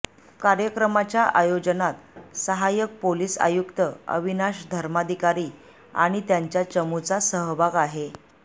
कार्यक्रमाच्या आयोजनात सहाय्यक पोलिस आयुक्त अविनाश धर्माधिकारी आणि त्यांच्या चमूचा सहभाग आहे